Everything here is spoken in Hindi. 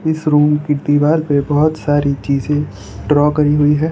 इस रूम की दीवार पे बहोत सारी चीजें ड्रॉ करी हुई है।